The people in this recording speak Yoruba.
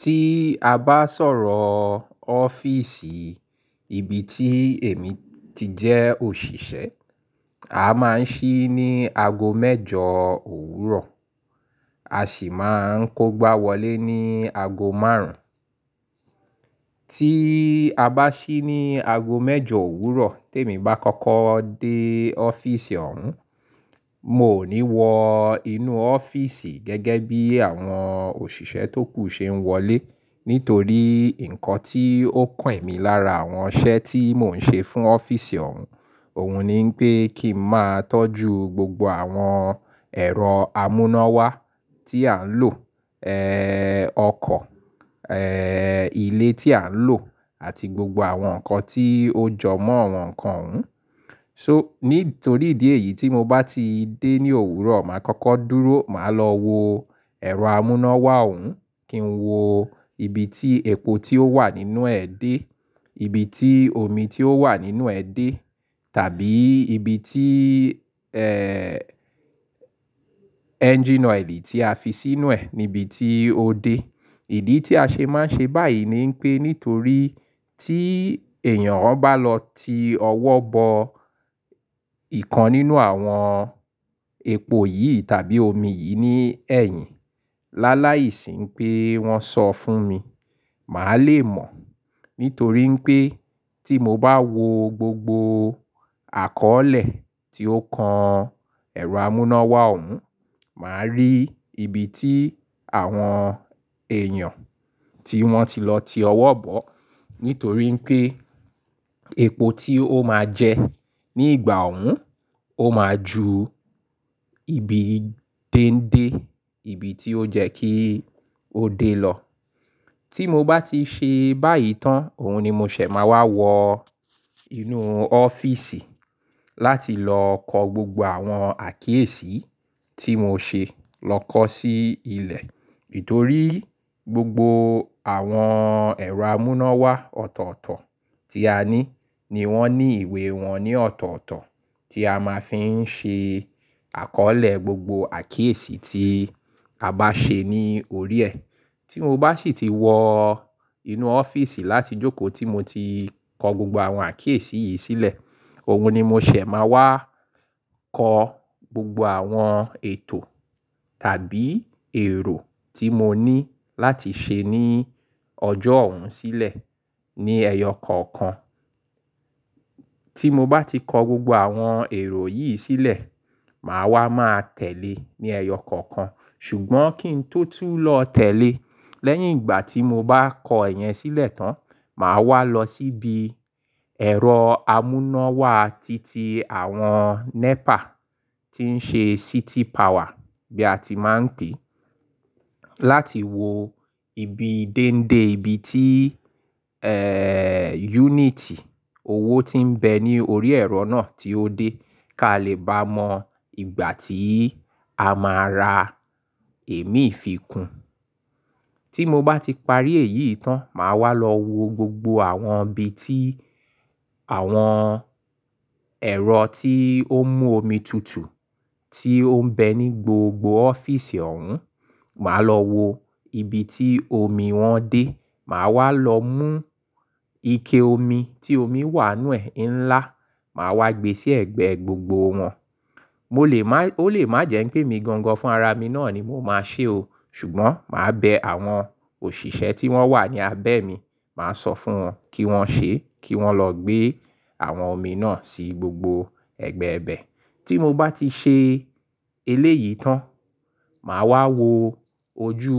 Tí a bá sọ̀rọ̀ ọ́fíìsì ibi tí èmi ti jẹ́ òṣìṣẹ́, a máa ń sí ní ago mẹ́jọ òwúrọ̀, a sì máa ń kógbáwọlé ní ago márùn-ún. Tí a bá sí ní ago mẹ́jọ òwúrọ̀ tí èmi bá kọ́kọ́ dé ọ́fíìsì ọ̀hún, mò ní wọ inú ọ́fíìsì gẹ́gẹ́ bí àwọn òṣìṣẹ́ tókù ṣe ń wọlé nítorí ǹkan tí ó kàn mí lára àwọn iṣẹ́ tí mò ń ṣe fún ọ́fíìsì ọ̀hún, òun ni pé kí n máa tọ́jú gbogbo àwọn ẹ̀rọ amúnáwá tí à ń lò, ọkọ̀, ilé tí à ń lò àti gbogbo àwọn nǹkan tí ó jọ mọ́ àwọn nǹkan òun. So nítorí ìdí èyí tí mo bá ti dé ní òwúrọ̀, màá kọ́kọ́ dúró, màá lọ wo ẹ̀rọ amúnáwá òun kí n wo ibi tí epo tí ó wà nínú ẹ̀ dé, ibi tí omi tí ó wà nínú ẹ̀ dé tàbí ibi tí engine oil tí a fi sínú ẹ̀ níbi tí ó dé. Ìdí tí a ṣe máa ń ṣe báyìí ni pé nítorí tí èèyàn bá lọ ti ọwọ́ bọ ìkan nínú àwọn epo yìí tàbí omi yìí ní ẹ̀yìn, láláìsí pé wọ́n sọ fún mi, màá le mọ̀. Nítorí pé tí mo bá wo gbogbo àkọ́ọ̀lẹ̀ tí ó kan ẹ̀rọ amúnáwá òun, màá rí ibi tí àwọn èèyàn tí wọ́n ti lọ ti ọwọ́ bọ̀. Nítorí pé epo tí ó máa jẹ ní ìgbà òun ó máa ju ibi déńdé, ibi tí ó jẹ́ kí ó dé lọ. Tí mo bá ti ṣe báyìí tán, òun ni mo ṣẹ̀ máa wá wọ inú ọ́fíìsì láti lọ kọ gbogbo àwọn àkíyèsí tí mo ṣe lọ kọ sí ilẹ̀. Nítorí gbogbo àwọn ẹ̀rọ amúnáwá ọ̀tọ̀ọ̀tọ̀ tí a ní ni wọ́n ní ìwé wọn ní ọ̀tọ̀ọ̀tọ̀ tí a máa fi ń ṣe àkọ́ọ̀lẹ̀ gbogbo àkíyèsí tí a bá ṣe ní orí ẹ̀. Tí mo bá sì ti wọ inú ọ́fíìsì láti jókòó tí mo ti kọ gbogbo àwọn àkíyèsí yìí sílẹ̀, òun ni mo ṣẹ̀ máa wá kọ gbogbo àwọn ètò tàbí èrò tí mo ní láti ṣe ní ọjọ́ òun sílẹ̀ ní ẹyọ kọ̀ọ̀kan. Tí mo bá ti kọ gbogbo àwọn èrò yìí sílẹ̀, màá wá máa tẹ̀le ní ẹyọ kọ̀ọ̀kan. Ṣùgbọ́n kí n tó tú lọ tẹ̀le, lẹ́yìn ìgbà tí mo bá kọ ẹ̀yẹn sílẹ̀ tán, màá wá lọ síbi ẹ̀rọ amúnáwá titi àwọn NEPA tí ń ṣe city power bí a ti máa ń pè é, láti wo ibi déńdé ibi tí yúnìtì owó tí ń bẹ ní orí ẹ̀rọ náà tí ó dé kí a lè bá mọ ìgbà tí a máa ra èémí ìfikún. Tí mo bá ti parí èyí tán, màá wá lọ wo gbogbo àwọn ibi tí àwọn ẹ̀rọ tí ó mú omi tutù tí ó ń bẹ ní gbogbo ọ́fíìsì òun, màá lọ wo ibi tí omi wọn dé, màá wá lọ mú ike omi tí omi wà nínú ẹ̀ ńlá, màá wá gbé sí ẹ̀gbẹ́ gbogbo wọn. Mo lè má, ó lè má jẹ́ pé mi gangan fún ara mi náà ni mò máa ṣe o, ṣùgbọ́n màá bẹ àwọn òṣìṣẹ́ tí wọ́n wà ní abẹ́ mi, màá sọ fún wọn kí wọ́n ṣe, kí wọ́n lọ gbé àwọn omi náà sí gbogbo ẹ̀gbẹẹ̀gbẹ́. Tí mo bá ti ṣe eléyìí tán, màá wá wo ojú